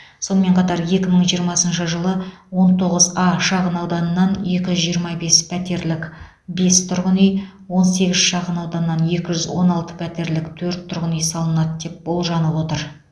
сонымен қатар екі мың жиырмасыншы жылы он тоғыз а шағынауданынан екі жүз жиырма бес пәтерлік бес тұрғын үй он сегіз шағынауданнан екі жүз он алты пәтерлік төрт тұрғын үй салынады деп болжанып отыр